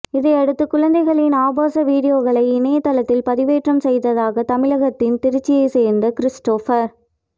இதையடுத்து குழந்தைகளின் ஆபாச வீடியோக்களை இணையதளத்தில் பதிவேற்றம் செய்ததாக தமிழகத்தின் திருச்சியை சேர்ந்த கிறிஸ்டோபர்